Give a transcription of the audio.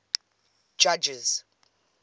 judges